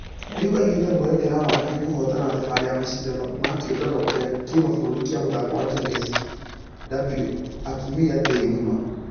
Rĩũ aigĩte mwerekera wake kũhotana thabarĩ ya mashidano ma kĩũngano gĩa kĩmabũrũri gĩa mũthako wa tennis w,a atumia thĩ ngima.